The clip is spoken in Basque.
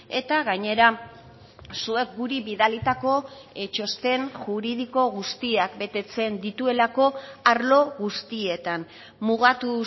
eta gainera zuek guri bidalitako txosten juridiko guztiak betetzen dituelako arlo guztietan mugatu